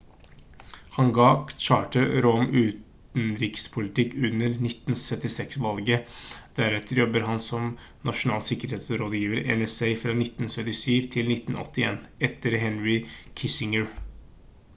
han gav carter råd om utenrikspolitikk under 1976-valget deretter jobbet han som nasjonal sikkerhetsrådgiver nsa fra 1977 til 1981 etter henry kissinger